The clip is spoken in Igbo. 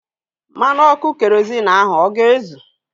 Mmanụ ọkụ kerozịn ahu ọ ga-ezu?